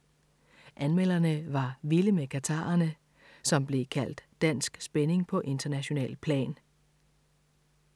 Anmelderne var vilde med Katharerne, som blev kaldt dansk spænding på internationalt plan.